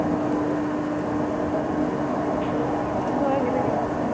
ഓ പിന്നെന്തുവാ, ഇങ്ങനെ ഇരിക്കുന്നു.